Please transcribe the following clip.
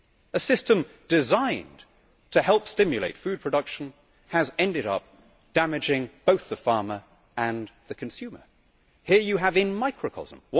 A system designed to help stimulate food production has ended up damaging both the farmer and the consumer. Here you have a microcosm.